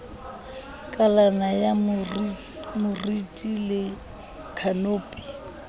kalana ya moriti le khanopi